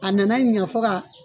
A nana ɲa fo ka